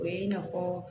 O ye i n'a fɔ